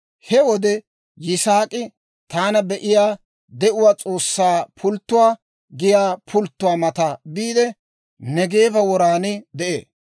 He wode Yisaak'i, «Taana Be'iyaa De'uwaa S'oossaa Pulttuwaa» giyaa pulttuwaa mata biide, Neegeeba woran de'ee.